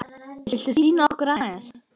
Viltu sýna okkur aðeins?